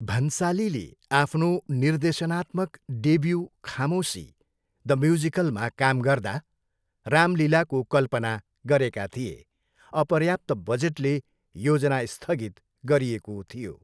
भन्सालीले आफ्नो निर्देशनात्मक debut Khamoshi, the म्युजिकलमा काम गर्दा राम लीलाको कल्पना गरेका थिए, अपर्याप्त बजेटले योजना स्थगित गरिएको थियो।